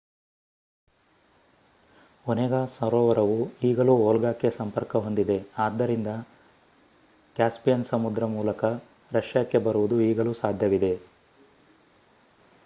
Onega ಸರೋವರವು ಈಗಲೂ ವೋಲ್ಗಾಕ್ಕೆ ಸಂಪರ್ಕ ಹೊಂದಿದೆ ಆದ್ದರಿಂದ ಕ್ಯಾಸ್ಪಿಯನ್ ಸಮುದ್ರ ಮೂಲಕ ರಷ್ಯಾಕ್ಕೆ ಬರುವುದು ಈಗಲೂ ಸಾಧ್ಯವಿದೆ